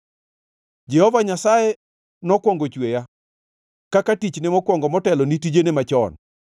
“Jehova Nyasaye nokwongo chweya kaka tichne mokwongo motelo ni tijene machon.